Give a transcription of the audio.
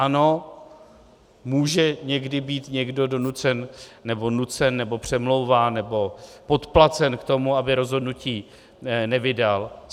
Ano, může někdy být někdo donucen nebo nucen nebo přemlouván nebo podplacen k tomu, aby rozhodnutí nevydal.